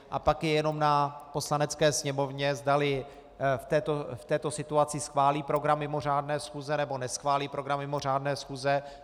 A pak je jenom na Poslanecké sněmovně, zdali v této situaci schválí program mimořádné schůze, nebo neschválí program mimořádné schůze.